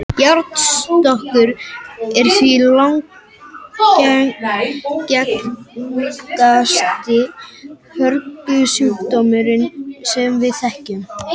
Járnskortur er því langalgengasti hörgulsjúkdómurinn sem við þekkjum.